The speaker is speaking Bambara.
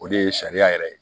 O de ye sariya yɛrɛ ye